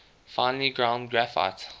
finely ground graphite